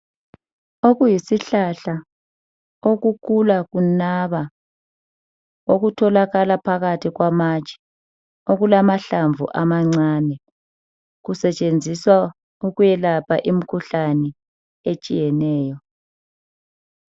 Okuyisihlahla okukhula kunaba okutholakala phakathi kwamatshe okulamahlamvu amane. Kusetshenziswa ukwelapha imikhuhlane etshiyeneyo.